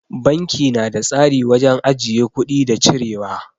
Banki na da tsari wajen ajiye kuɗi da cirewa.